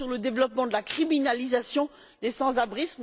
D'abord, sur le développement de la criminalisation des sans abri.